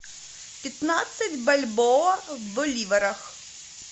пятнадцать бальбоа в боливарах